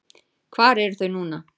Hvar eru þau núna?